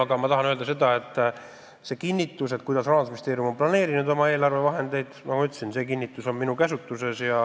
Aga nagu ma ütlesin, see kinnitus, kuidas Rahandusministeerium on oma eelarvevahendeid planeerinud, on minu käsutuses.